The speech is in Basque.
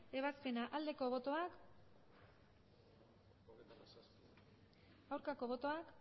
ebazpena aldeko botoak aurkako botoak